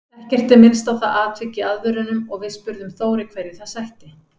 Ekkert er minnst á það atvik í aðvörunum og við spurðum Þóri hverju það sætti?